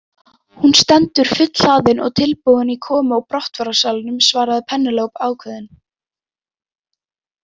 Hún stendur fullhlaðin og tilbúin í komu og brottfararsalnum, svarði Penélope ákveðin.